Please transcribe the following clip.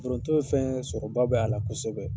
Foronto ye fɛn ye sɔrɔba b'a la kosɛbɛ.